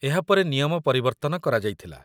ଏହା ପରେ ନିୟମ ପରିବର୍ତ୍ତନ କରାଯାଇଥିଲା।